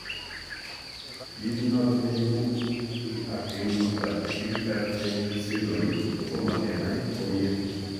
Kiit nenoton neiibu ak eleburtoo Klippel Feil syndrome kotoma kenai komyee